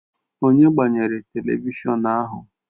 Onye gbanyere televishọn ahụ?